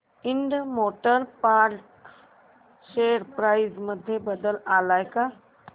Ind Motor Parts share price मध्ये बदल आलाय का